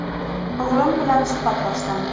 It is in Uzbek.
O‘g‘lim bilan suhbatlashdim.